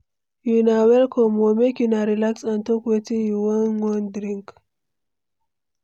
Una welcome o! Make una relax and talk wetin una wan drink.